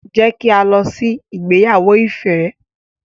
Jẹ ki a lọ ìgbéyàwó Ife.